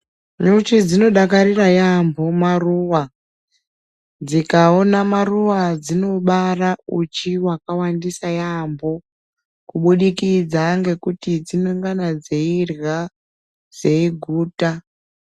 Nyucho dzonodakarira yambo maruva dzikaona maruwa dzono bara uchi hwakawandisa yambo kubudikidza ngekuti dzinongana dzeirya dzeiguta.